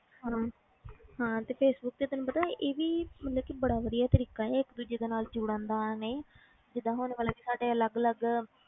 ਹੁਣ ਹਾਂ ਤੇ ਫੇਸਬੁੱਕ ਤੇ ਤੈਨੂੰ ਪਤਾ ਇਹ ਵੀ ਮਤਲਬ ਕਿ ਬੜਾ ਵਧੀਆ ਤਰੀਕਾ ਹੈ ਇੱਕ ਦੂਜੇ ਦੇ ਨਾਲ ਜੁੜਨ ਦਾ ਨਹੀਂ ਜਿੱਦਾਂ ਹੁਣ ਮਤਲਬ ਕਿ ਸਾਡੇ ਅਲੱਗ ਅਲੱਗ